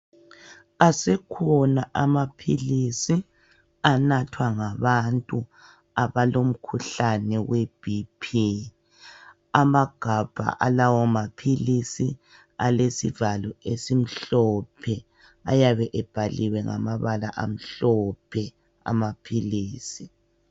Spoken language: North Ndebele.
Asekhona amaphilisi anathwa ngabantu abalomkhuhlane we BP. Amagabha alawo maphilisi alesivalo esimhlophe, ayabe ebhaliwe ngamabala amhlophe, amaphilisi.